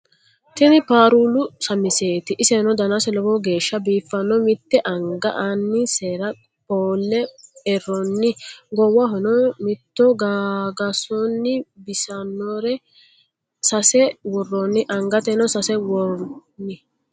tinni parulu samiseti iseno danase loowo gesha bifano mitte anga annisera pole eronni gowahonna mitto gagasonni bisanore sesa worroni angateno sesa wonni.